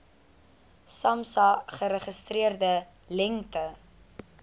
samsa geregistreerde lengte